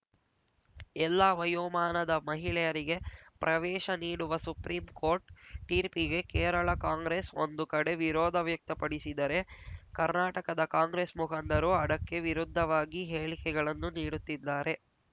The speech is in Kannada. ಎಲ್ಲಾ ವಯೋಮಾನದ ಮಹಿಳೆಯರಿಗೆ ಪ್ರವೇಶ ನೀಡುವ ಸುಪ್ರಿಂ ಕೋರ್ಟ್‌ ತೀರ್ಪಿಗೆ ಕೇರಳ ಕಾಂಗ್ರೆಸ್‌ ಒಂದು ಕಡೆ ವಿರೋಧ ವ್ಯಕ್ತಪಡಿಸಿದರೆ ಕರ್ನಾಟಕದ ಕಾಂಗ್ರೆಸ್‌ ಮುಖಂಡರು ಅಡಕ್ಕೆ ವಿರುದ್ಧವಾದ ಹೇಳಿಕೆಗಳನ್ನು ನೀಡುತ್ತಿದ್ದಾರೆ